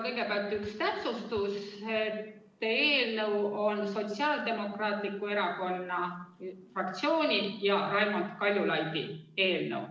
Kõigepealt üks täpsustus: eelnõu on Sotsiaaldemokraatliku Erakonna fraktsiooni ja Raimond Kaljulaidi eelnõu.